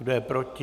Kdo je proti?